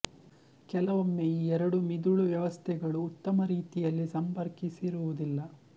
ಕೆಲವೊಮ್ಮೆ ಈ ಎರಡು ಮಿದುಳು ವ್ಯವಸ್ಥೆಗಳು ಉತ್ತಮ ರೀತಿಯಲ್ಲಿ ಸಂಪರ್ಕಿಸಿರುವುದಿಲ್ಲ